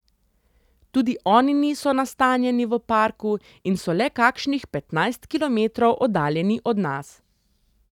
Tudi oni niso nastanjeni v parku in so le kakšnih petnajst kilometrov oddaljeni od nas.